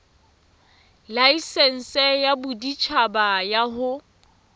laesense ya boditjhaba ya ho